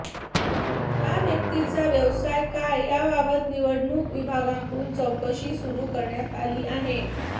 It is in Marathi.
या व्यक्तीचा व्यवसाय काय याबाबत निवडणूक विभागाकडून चौकशी सुरू करण्यात आली आहे